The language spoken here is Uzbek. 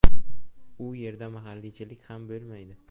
U yerda mahalliychilik ham bo‘lmaydi.